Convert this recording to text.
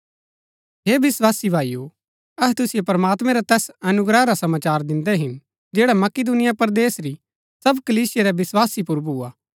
अबै हे विस्वासी भाईओ अहै तुसिओ प्रमात्मैं रै तैस अनुग्रह रा समाचार दिन्दै हिन जैड़ा मकिदुनिया परदेस री सब कलीसिया रै विस्वासी पुर भूआ